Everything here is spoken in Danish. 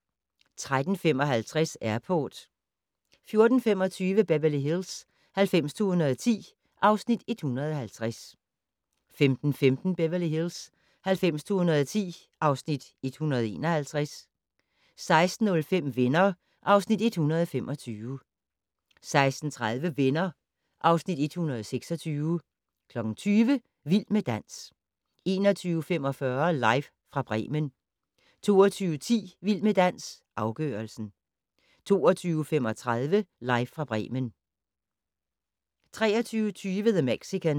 13:55: Airport 14:25: Beverly Hills 90210 (Afs. 150) 15:15: Beverly Hills 90210 (Afs. 151) 16:05: Venner (Afs. 125) 16:30: Venner (Afs. 126) 20:00: Vild med dans 21:45: Live fra Bremen 22:10: Vild med dans - afgørelsen 22:35: Live fra Bremen 23:20: The Mexican